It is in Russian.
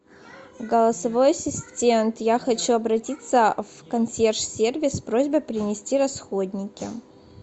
голосовой ассистент я хочу обратиться в консьерж сервис с просьбой принести расходники